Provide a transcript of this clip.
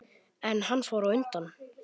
En hann fór þá undan.